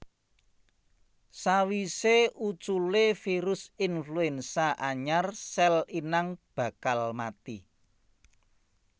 Sawisé uculé virus influenza anyar sèl inang bakal mati